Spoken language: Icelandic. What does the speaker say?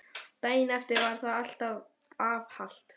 Daginn eftir var það var afhalt.